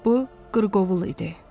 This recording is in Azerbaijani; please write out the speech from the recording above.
Bu qırqovul idi.